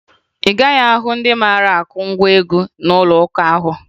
Ị gaghị ahụ ndị mara akụ ngwa egwụ n'ụlọụka ahụ